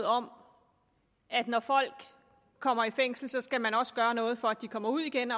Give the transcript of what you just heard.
om at når folk kommer i fængsel skal man også gøre noget for at de kommer ud igen